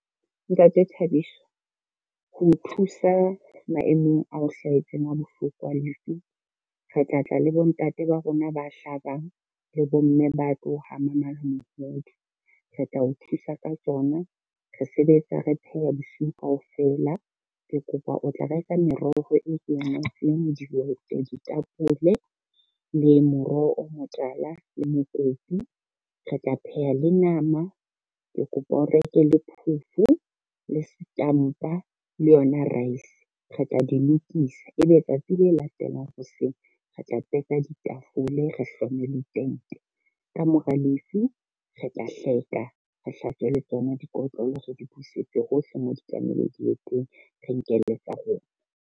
Ntate Thabiso, ho o thusa maemong ao hlahetseng a bohloko a lefu, re tla tla le bontate ba rona ba hlabang le bomme ba tlo hama mala mohodu. Re tla o thusa ka tsona, re sebetsa re pheha bosiu kaofela o tla refa meroho e dihwete, ditapole, le moroho o motala le mokopu. Re tla pheha le nama, ke kopa o reke le phofo, le setampa, le yona raese re tla di lokisa, ebe tsatsi le latelang hoseng re tla teka ditafole, re hlome le tente. Ka mora lefu re tla hleka, re hlatswe le tsona dikotlolo re di busetse hohle mo di tlamehileng di ye teng, re nke le tsa rona.